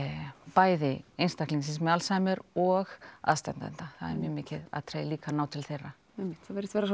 bæði einstaklingsins með Alzheimer og aðstandenda það er mikið atriði líka að ná til þeirra einmitt það virðist vera